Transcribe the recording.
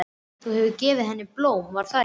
Þú hefur gefið henni blóm, var það ekki?